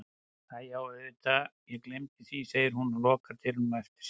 Æi já auðvitað ég gleymdi því, segir hún og lokar dyrunum á eftir sér.